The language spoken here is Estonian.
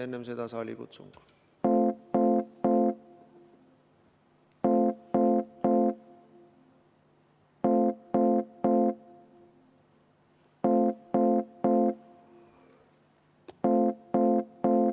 Enne seda saalikutsung.